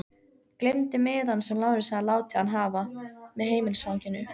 Gleymdi miðanum sem Lárus hafði látið hann hafa, með heimilisfanginu.